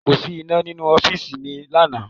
Kò sí iná nínú ọ́fíìsì mi lánàá